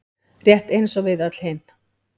Rétt eins og við öll hin.